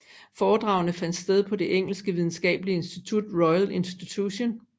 Foredragene fandt sted på det engelske videnskabelige institut Royal Institution